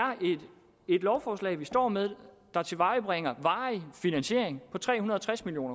et lovforslag vi står med der tilvejebringer varig finansiering på tre hundrede og tres million